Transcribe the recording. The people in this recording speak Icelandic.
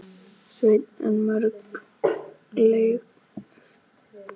Sveinn en mörg leikrit voru líka frumsamin.